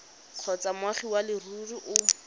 kgotsa moagi wa leruri o